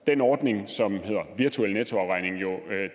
den ordning som hedder virtuel nettoafregning jo